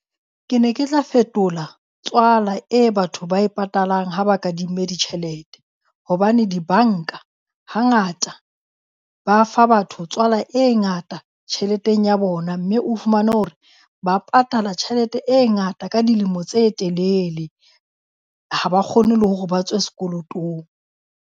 Ke ne ke tla fetola tswala e batho ba e patalang ha ba kadimme ditjhelete, hobane dibanka ha ngata ba fa batho tswala e ngata tjheleteng ya bona. Mme o fumane hore ba patala tjhelete e ngata ka dilemo tse telele, ha ba kgone le hore ba tswe sekolotong.